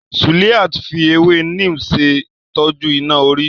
Suliat fi ewé Neem ṣè tọ́jú iná orí.